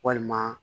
Walima